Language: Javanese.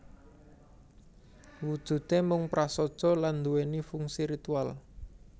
Wujudé mung prasaja lan nduwèni fungsi ritual